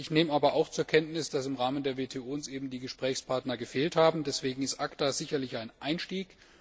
Ich nehme aber auch zur Kenntnis, dass uns im Rahmen der WTO die Gesprächspartner gefehlt haben, deswegen ist ACTA sicherlich ein Einstieg.